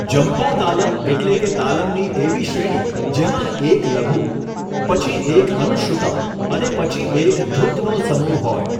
જંપા તાલમ એટલે તાલમની એવી શ્રેણી જેમાં એક લઘુ, પછી એક અનુશ્રુતમ અને પછી એક ધૃતનો સમૂહ હોય.